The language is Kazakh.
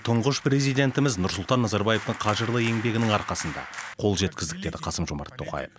тұңғыш президентіміз нұрсұлтан назарбаевтың қажырлы еңбегінің арқасында қол жеткіздік деді қасым жомарт тоқаев